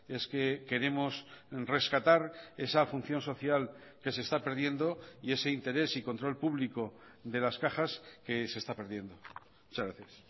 es que queremos rescatar esa función social que se está perdiendo y ese interés y control público de las cajas que se está perdiendo muchas gracias